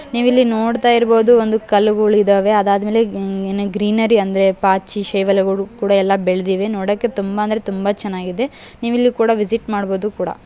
ನೀವಿಲ್ಲಿ ನೋಡ್ತಾ ಇರ್ಬಹುದು ಒಂದು ಕಲ್ಲುಗುಲು ಇದಾವೆ. ಅದಾದ್ ಮೇಲೆ ಏನ್ ಗ್ರೀನರಿ ಅಂದ್ರೆ ಪಾಚಿ ಶೇವಾಲುಗಳು ಎಲ್ಲ ಬೆಳೆದಿವೆ. ನೋಡೋಕೆ ತುಂಬಾ ಅಂದ್ರೆ ತುಂಬಾನೇ ಚೆನ್ನಾಗಿದೆ. ನೀವಿಲ್ಲಿ ಕೂಡ ವಿಸಿಟ್ ಮಾಡಬಹುದು ಕೂಡ.